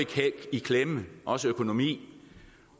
i klemme også økonomisk